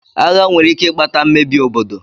Agha nwere ike ikpata mmebi obodo.